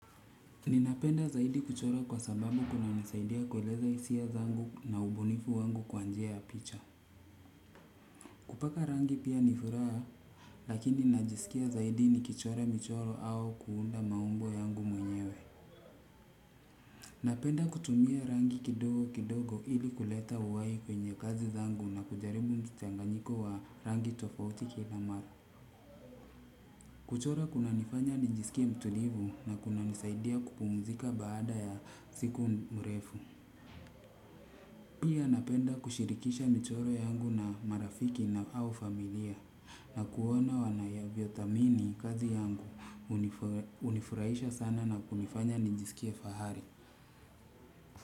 Ninapenda zaidi kuchora kwa sababu kuna nisaidia kueleza hisia zangu na ubunifu wangu kwa njia ya picha. Kupaka rangi pia nifuraha lakini najisikia zaidi ni kichora michoro au kuunda maumbo yangu mwenyewe. Napenda kutumia rangi kidogo kidogo ili kuleta uhai kwenye kazi zangu na kujaribu mchanganyiko wa rangi tofauti kila mara. Kuchora kunanifanya nijisikie mtulivu na kuna nisaidia kupumzika baada ya siku mrefu. Pia napenda kushirikisha michoro yangu na marafiki na au familia na kuona wanavyo dhamini kazi yangu hunifurahisha sana na kunifanya nijisikie fahari.